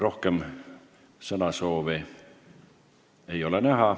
Rohkem sõnasoove ei ole.